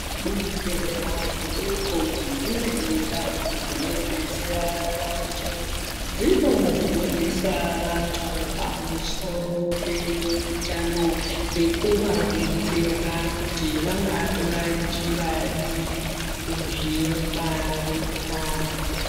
Zvibhedhlera zvidoko nedzimweni ndau dzinodetsera vantu, dzinofundisa vantu pamusoro peutano, nekuvadetsera kuti vangatora njira dziri kuzvingwarira.